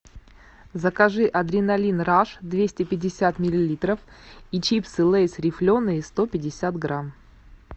закажи адреналин раш двести пятьдесят миллилитров и чипсы лейс рифленые сто пятьдесят грамм